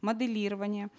моделирование